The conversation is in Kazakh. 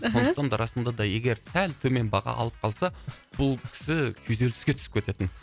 мхм сондықтан да расында да егер сәл төмен баға алып қалса бұл кісі күйзеліске түсіп кететін